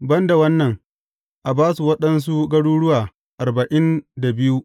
Ban da wannan, a ba su waɗansu garuruwa arba’in da biyu.